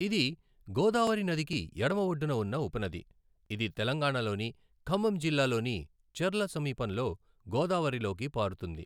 ఇది గోదావరి నదికి ఎడమఒడ్డున ఉన్న ఉపనది, ఇది తెలంగాణలోని ఖమ్మం జిల్లాలోని చెర్ల సమీపంలో గోదావరిలోకి పారుతుంది.